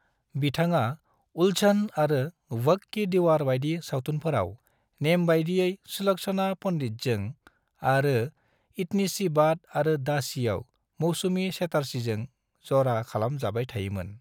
बिथाङा "उलझन" आरो "वक्त की दीवार" बायदि सावथुनफोराव नेमबायदियै सुलक्षणा पंडितजों आरो "इतनी सी बात" आरो "दासी"आव मौसमी चटर्जीजों जरा खालाम जाबाय थायो मोन ।